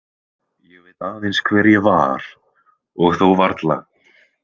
Ég veit aðeins hver ég var og þó varla.